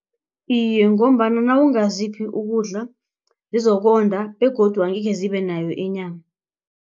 Iye, ngombana nawungaziphi ukudla zizokonda begodu angekhe zibe nayo inyama.